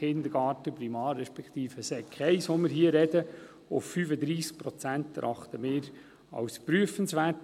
Kindergarten/Primar respektive der Sekundarstufe I, von der wir hier sprechen, erachten wir als prüfenswert.